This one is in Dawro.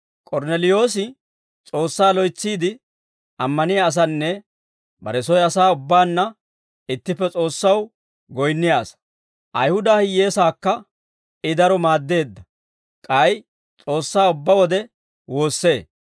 K'ornneliyoosi S'oossaa loytsiide ammaniyaa asanne, bare soy asaa ubbaanna ittippe S'oossaw goyinniyaa asaa; Ayihuda hiyyeesaakka I daro maaddee; k'ay S'oossaa ubbaa wode woossee.